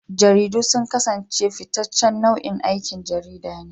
Jaridu sun kasance fitaccen nau'in aikin jarida ne.